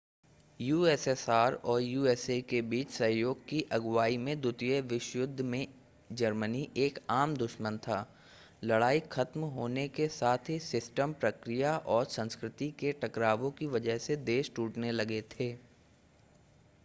USSR और USA के बीच सहयोग की अगुआई में द्वितीय विश्व युद्ध में जर्मनी एक आम दुश्मन था लड़ाई ख़त्म होने के साथ ही सिस्टम प्रक्रिया और संस्कृति के टकरावों की वजह से देश टूटने लगे थे